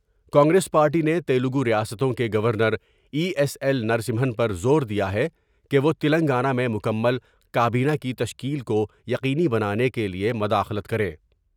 ہ کانگریس پارٹی نے تیلگور یاستوں کے گونرای ایس ایل نرسمہن پر زور دیا ہے کہ وہ تلنگانہ میں مکمل کا بینہ کی تشکیل کویقینی بنانے کے لیے مداخلت کریں ۔